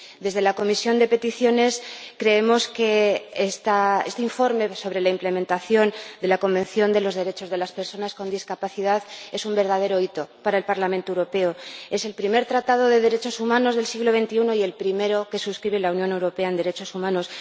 Desde la Comisión de Peticiones creemos que este informe sobre la aplicación de la Convención sobre los Derechos de las Personas con Discapacidad es un verdadero hito para el Parlamento Europeo es el primer tratado de derechos humanos del siglo XXI y el primero que suscribe la Unión Europea en materia derechos humanos.